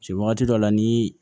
Se wagati dɔ la ni